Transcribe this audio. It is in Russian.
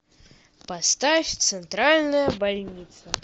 поставь центральная больница